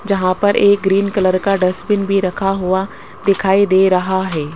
जहां पर एक ग्रीन कलर का डस्टबिन भी रखा हुआ दिखाई दे रहा है।